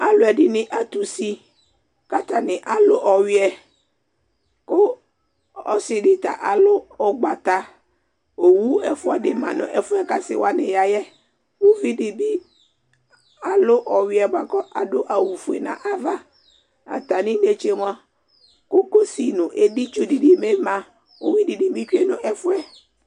aloɛdini ato usi k'atani alo ɔwiɛ ko ɔse di ta alo ugbata owu ɛfua di ma no ɛfoɛ k'ase wani ya yɛ uvi di bi alo ɔwiɛ boa ko ado awu fue n'ava atami netse moa kokosi n'edi tsu di ni bi ma uwi di ni bi tsue no ɛfoɛ